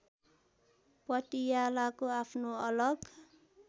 पटियालाको आफ्नो अलग